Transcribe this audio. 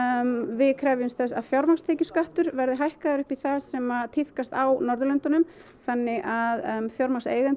við krefjumst þess að fjármagnstekjuskattur verði hækkaður upp í það sem tíðkast á Norðurlöndunum þannig að fjármagnseigendur